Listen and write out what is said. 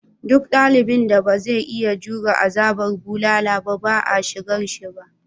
Duk yaron da ba zai iya jure azabar bulala ba ba a shigarshi ba.